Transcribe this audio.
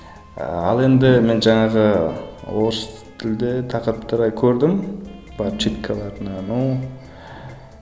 ыыы ал енді мен жаңағы орыс тілді тақырыптарды көрдім но